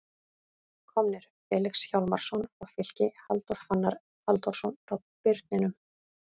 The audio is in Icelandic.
Komnir: Felix Hjálmarsson frá Fylki Halldór Fannar Halldórsson frá Birninum